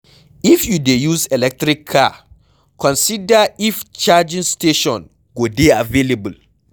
If you dey use electric car, consider if charging station go dey available